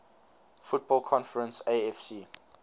football conference afc